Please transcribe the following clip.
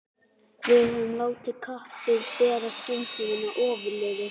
Höfum við látið kappið bera skynsemina ofurliði?